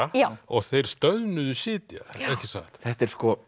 og þeir stöðnuðu sitja ekki satt þetta er